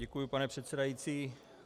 Děkuji, pane předsedající.